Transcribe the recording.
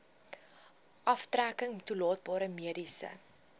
aftrekking toelaatbare mediese